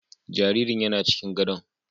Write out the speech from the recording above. Jaririn yana cikin gadon